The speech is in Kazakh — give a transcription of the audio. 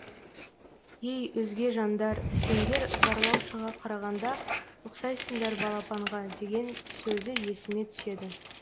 ей өзге жандар сендер барлаушыға қарағанда ұқсайсыңдар балапанға деген сөзі есіме түседі